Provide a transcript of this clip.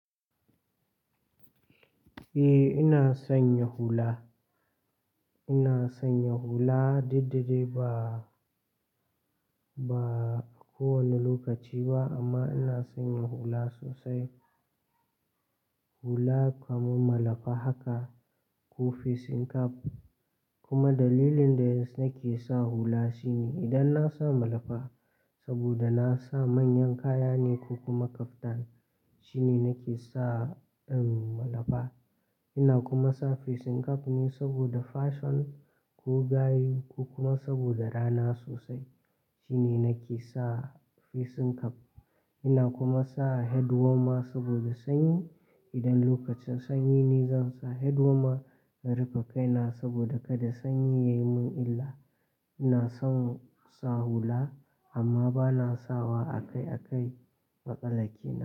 Eh, ina son yin hula. Ina son yin hula, duk da dai ba, ba kowane lokaci ba amma ina son yin hula sosai. Hula kamar malafa haka ko facing cap. Kuma dalilin da nake sa hula shine idan na sa malafa saboda na sa manyan kaya ne ko kuma kaftan shine nake sa en malafa. Ina kuma sa facing cap ne saboda fashion ko gayu ko kuma saboda rana sosai. Shine nake sa facing cap. Ina kuma sa head warmer saboda sanyi. Idan lokacin sanyi ne zan sa head warmer in rufe kaina saboda kada sanyi ya yi min illa. Ina son sa hula amma ba na sawa akai-akai matsala kenan.